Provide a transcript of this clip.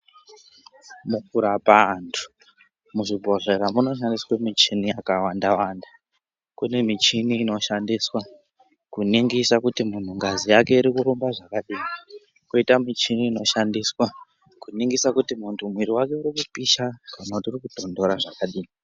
Mukurapa antu, muzvibhodhlera munoshandiswe michini yakawanda-wanda. Kune michini inoshandiswa kuningisa kuti muntu ngazi yake irikurumba zvakadini, koita michini inoshandiswa kuningisa kuti muntu mwiri wake urikupisha kana kuti urikutontora zvakadini.